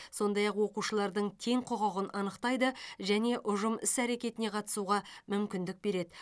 сондай ақ оқушылардың тең құқығын анықтайды және ұжым іс әрекетіне қатысуға мүмкіндік береді